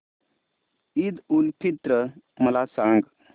ईद उल फित्र मला सांग